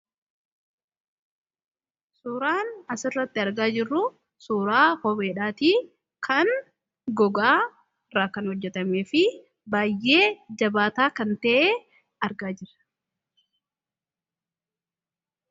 Suuraan as irratti argaa jiru kun suuraa kopheedhatti kan googaa irra kan hojeetameefi baay'ee jabataa kan ta'e arga jira.